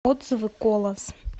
отзывы колос